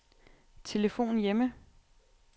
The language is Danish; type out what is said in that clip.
telefon hjemme